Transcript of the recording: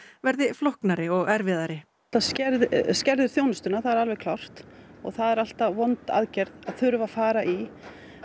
verði flóknari og erfiðari þetta skerðir skerðir þjónustuna það er alveg klárt og það er alltaf vond aðgerð að þurfa að fara í